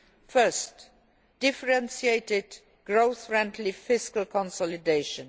First, differentiated growth friendly fiscal consolidation